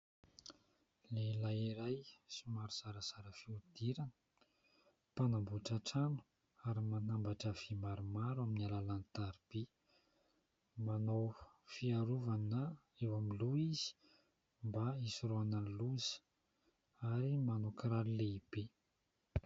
Lehilahy iray somary zarazara fihodirana mpanamboatra trano ary manambatra vy maromaro amin'ny alalan'ny tariby. Manao fiarovana eo amin'ny loha izy mba hisorohana ny loza ary manao kiraro lehibe.